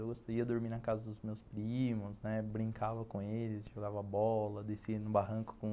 Eu gostaria de dormir na casa dos meus primos, né, brincava com eles, jogava bola, descia no barranco com